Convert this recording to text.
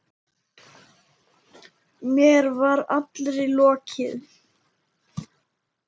Mér var allri lokið.